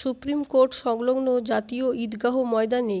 supreme court সংলগ্ন জাতীয় ঈদগাহ ময়দানে